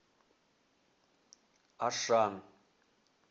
ашан